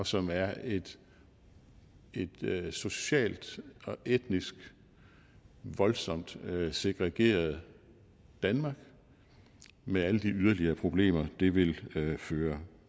som er et socialt og etnisk voldsomt segregeret danmark med alle de yderligere problemer det vil føre